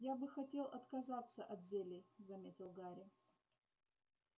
я бы хотел отказаться от зелий заметил гарри